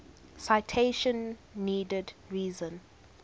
citation needed reason